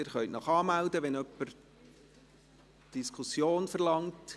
Sie können sich anmelden, wenn Sie die Diskussion verlangen.